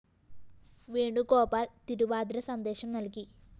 വേണുഗോപാല്‍ തിരുവാതിര സന്ദേശം നല്‍കി